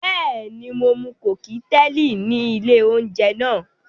Bẹ́ẹ̀ni, mo mu kọ́kíteèlì ní ilé-oúnjẹ náà.